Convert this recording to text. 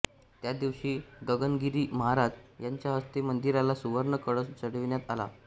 त्या दिवशी गगनगिरी महाराज यांच्या हस्ते मंदिराला सुवर्ण कळस चढविण्यात आला